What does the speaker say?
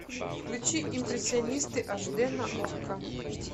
включи импрессионисты аш д на окко